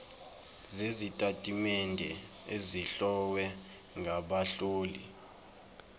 sezitatimende ezihlowe ngabahloli